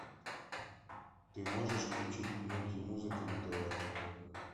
ты можешь включить мульти музыка на тв